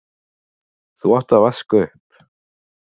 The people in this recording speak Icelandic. þú átt að vaska upp.